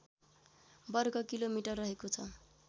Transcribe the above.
वर्गकिलोमिटर रहेको छ